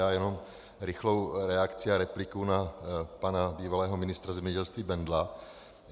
Já jenom rychlou reakci a repliku na pana bývalého ministra zemědělství Bendla.